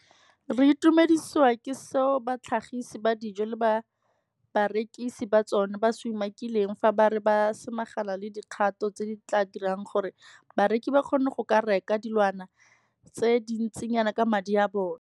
Re itumedisiwa ke seo batlhagisi ba dijo le barekisi ba tsona ba se umakileng fa ba re ba samagane le dikgato tse di tla dirang gore bareki ba kgone go ka reka dilwana tse dintsinyana ka madi a bona.